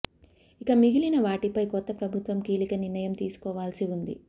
ఇక మిగిలిన వాటిపై కొత్త ప్రభుత్వం కీలక నిర్ణయం తీసుకోవాల్సి ఉంది